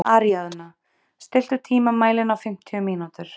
Aríaðna, stilltu tímamælinn á fimmtíu mínútur.